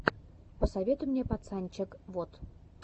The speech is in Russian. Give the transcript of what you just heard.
посоветуй мне пацанчег вот